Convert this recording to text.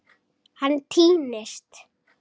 Hann týnist.